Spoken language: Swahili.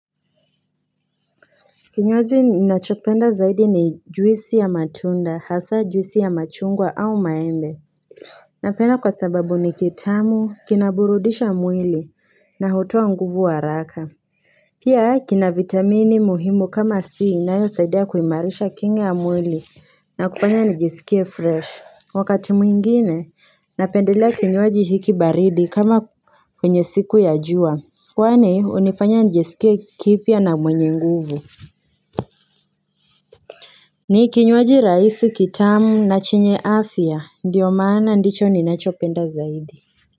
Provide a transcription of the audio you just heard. Kinywaji ninachopenda zaidi ni juisi ya matunda hasaa juisi ya machungwa au maembe Napena kwa sababu ni kitamu kinaburudisha mwili na hutoa nguvu wa raka Pia kina vitamini muhimu kama si inayosaidea kuhimarisha kinga ya mwili na kufanya nijisikie fresh. Wakati mwingine napendelea kinywaji hiki baridi kama kwenye siku ya jua Kwani hunifanya nijisikie kipya na mwenye nguvu ni kinywaji rahisi kitamu na chenye afya ndiyo maana ndicho ninachopenda zaidi.